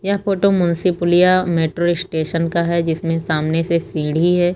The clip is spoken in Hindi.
यह photo Munshi Puliya metro station का है जिसमें सामने से सीढ़ी है।